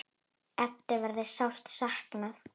Eddu verður sárt saknað.